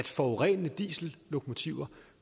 forurenende diesellokomotiver